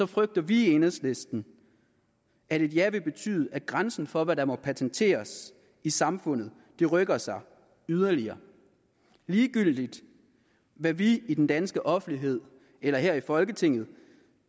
frygter vi i enhedslisten at et ja vil betyde at grænsen for hvad der må patenteres i samfundet rykker sig yderligere ligegyldigt hvad vi i den danske offentlighed eller her i folketinget